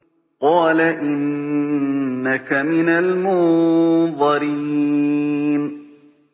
قَالَ إِنَّكَ مِنَ الْمُنظَرِينَ